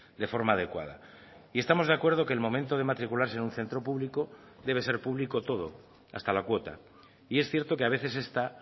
de forma adecuada y estamos de acuerdo que el momento de matricularse en un centro público debe ser público todo hasta la cuota y es cierto que a veces esta